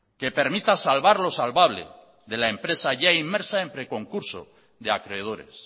que permita salvar lo salvable de la empresa ya inmersa en preconcurso de acreedores